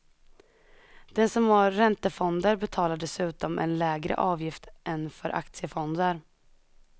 Den som har räntefonder betalar dessutom en lägre avgift än för aktiefonder.